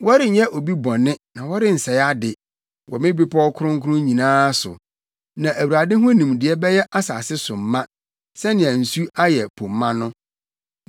Wɔrenyɛ obi bɔne na wɔrensɛe ade wɔ me bepɔw Kronkron nyinaa so, na Awurade ho nimdeɛ bɛyɛ asase so ma sɛnea nsu ayɛ po ma no.